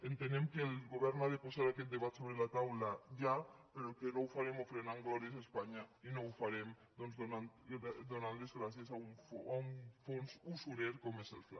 entenem que el govern ha de posar aquest debat sobre la taula ja però que no ho farem ofrenant glòries a espanya i no ho farem doncs donant les gràcies a un fons usurer com és el fla